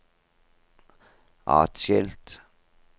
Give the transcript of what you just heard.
atskilt